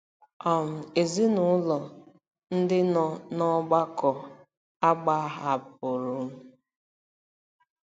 um Ezinụlọ ndị nọ n'ọgbakọ agbahapụrụ um m.